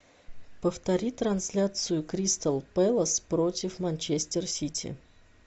повтори трансляцию кристал пэлас против манчестер сити